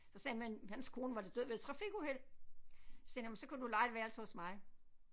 Så sagde han men hans kone var død ved et trafikuheld så sagde han jamen så kan du leje et værelse hos mig